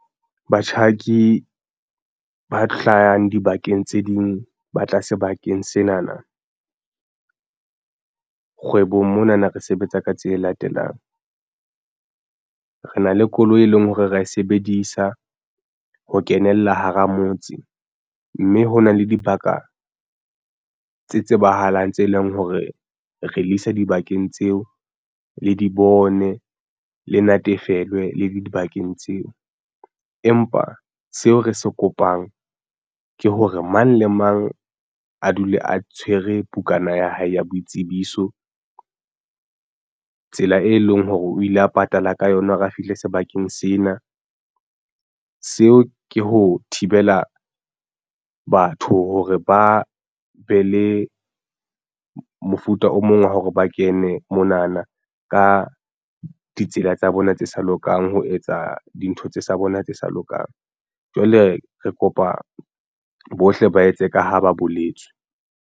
Batjhaki ba hlayang dibakeng tse ding ba tla sebakeng sena na kgwebong mona na re sebetsa ka tse latelang re na le koloi e leng hore ra e sebedisa ho kenella hara motse mme hona le dibaka tse tsebahalang tse leng hore re le isa dibakeng tseo le di bone le natefelwe le dibakeng tseo. Empa seo re se kopang ke hore mang le mang a dule a tshwere bukana ya hae ya boitsebiso tsela e leng hore o ile a patala ka yona o ka fihle sebakeng sena. Seo ke ho thibela batho hore ba be le mofuta o mong wa hore ba kene monana ka ditsela tsa bona tse sa lokang ho etsa dintho tsa bona tse sa lokang. Jwale re kopa bohle ba etse ka ha ba boletswe.